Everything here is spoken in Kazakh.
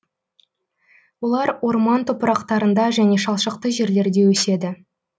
олар орман топырақтарында және шалшықты жерлерде өседі